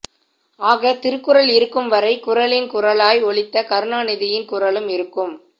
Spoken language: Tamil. ஆக திருக்குறள் இருக்கும் வரை குறளின் குரலாய் ஒலித்த கருணாநிதியின் குரலும் இருக்கும்